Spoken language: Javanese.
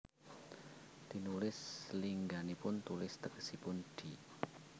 Tinulis lingganipun tulis tegesipun di